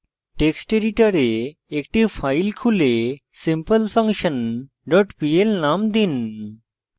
text editor একটি file খুলে simplefunction dot pl name দিন